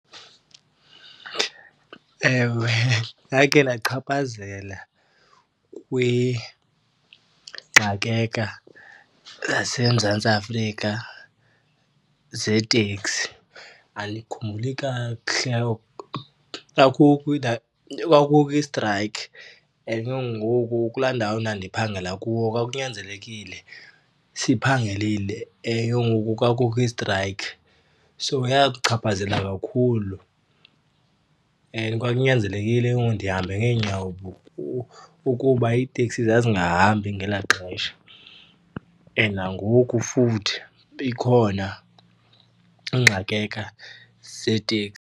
Ewe, ndakhe ndachaphazela yaseMzantsi Afrika zeeteksi. Andikhumbuli kakuhle, kwakukho i-strike and ke ngoku kulaa ndawo ndandiphangela kuyo kwakunyanzelekile siphangelile, and ke ngoku kwakukho i-strike. So yachaphazela kakhulu and kwakunyanzelekile ke ngoku ndihambe ngeenyawo ukuba iiteksi zazingahambi ngelaa xesha. And nangoku futhi ikhona zeeteksi.